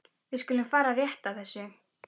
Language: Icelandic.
Við skulum fara rétt að þessu.